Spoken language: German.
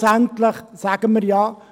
Schlussendlich sagen wir ja: